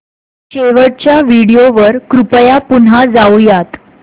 शेवटच्या व्हिडिओ वर कृपया पुन्हा जाऊयात